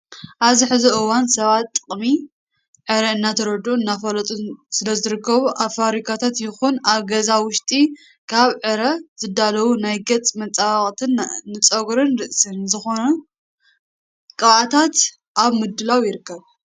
ኣብዚ ሕዚ እዋን ሰባት ጥቅሚ ዕረ እናተረድኡን እናፈለጡን ስለዝርከቡ ኣብ ፋብሪካታት ይኹን ኣብ ገዛ ውሽጢ ካብ ዕረ ዝዳለው ናይ ገፅ መፀባበቅትን ንፀጉሪ ርእሲ ዝኾውን ቅብዓታት ኣብ ምድላው ይርከቡ።